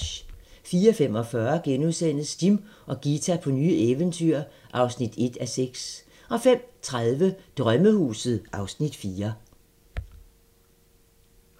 04:45: Jim og Ghita på nye eventyr (1:6)* 05:30: Drømmehuset (Afs. 4)